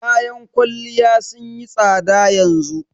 Kayan kwalliya sun yi tsada yanzu